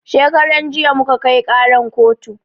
Shekaran jiya muka kai ƙaran kotu